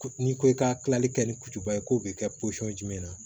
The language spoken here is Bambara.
Ko n'i ko i ka kilali kɛ ni kutuba ye k'o bɛ kɛ jumɛn na